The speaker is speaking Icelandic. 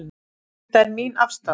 Þetta er mín afstaða.